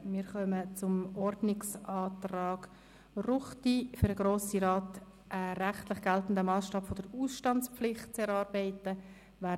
Wir kommen zum nächsten Ordnungsantrag Ruchti, wonach für den Grossen Rat ein rechtlich geltender Massstab für die Ausstandspflicht zu erarbeiten sei.